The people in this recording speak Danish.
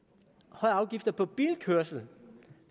højere afgifter på bilkørsel